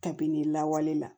Kabini lawale la